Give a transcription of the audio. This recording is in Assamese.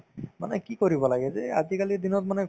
মানে কি কৰিব লাগে যে আজিকালিৰ দিনত মানে